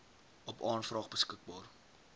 op aanvraag beskikbaar